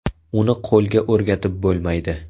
Uni qo‘lga o‘rgatib bo‘lmaydi.